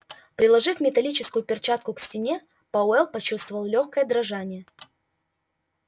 приложив металлическую перчатку к стене пауэлл почувствовал лёгкое дрожание